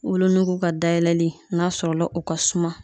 Wolonugu ka dayɛlɛ n'a sɔrɔla o ka suma